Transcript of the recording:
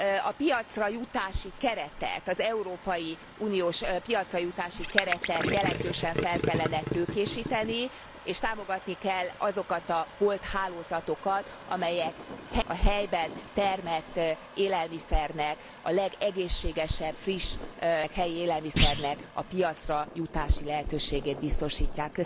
A piacra jutási keretet, az európai uniós piacra jutási keretet jelentősen fel kellene tőkésíteni, és támogatni kell azokat a bolthálózatokat, amelyek a helyben termelt élelmiszernek, a legegészségesebb, friss, helyi élelmiszernek a piacra jutási lehetőségét biztosítják.